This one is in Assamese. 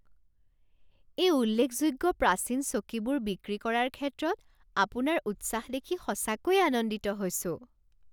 এই উল্লেখযোগ্য প্ৰাচীন চকীবোৰ বিক্ৰী কৰাৰ ক্ষেত্ৰত আপোনাৰ উৎসাহ দেখি সঁচাকৈয়ে আনন্দিত হৈছোঁ।